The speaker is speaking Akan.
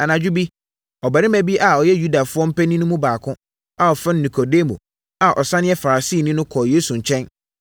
Anadwo bi, ɔbarima bi a ɔyɛ Yudafoɔ mpanin no mu baako a wɔfrɛ no Nikodemo a ɔsane yɛ Farisini no,